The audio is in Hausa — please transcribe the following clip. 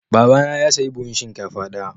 Babana ya sayi buhun shinkafa daya.